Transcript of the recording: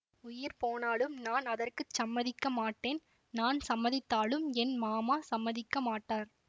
உயிர் போனாலும் நான் அதற்கு சம்மதிக்க மாட்டேன் நான் சம்மதித்தாலும் என் மாமா சம்மதிக்க மாட்டார்